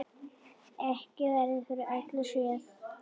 Ekki verður við öllu séð.